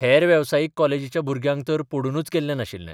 हेर वेवसायीक कॉलेजीच्या भुरग्यांक तर पडूनच गेल्लें नाशिल्लें.